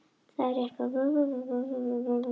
Það er rétt, það hafa nokkur félög spurst fyrir um hann.